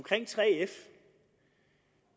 det